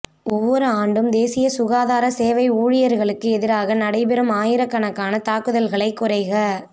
ஒவ்வொரு ஆண்டும் தேசிய சுகாதார சேவை ஊழியர்களுக்கு எதிராக நடைபெறும் ஆயிரக்கணக்கான தாக்குதல்களைக் குறைக